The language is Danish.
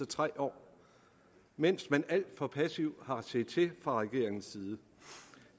tre år mens man alt for passivt har set til fra regeringens side